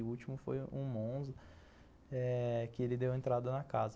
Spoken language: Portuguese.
O último foi um Monza, eh que ele deu entrada na casa.